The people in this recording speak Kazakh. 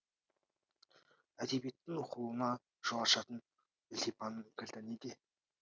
әдебиеттің оқылуына жол ашатын ілтипанның кілті неде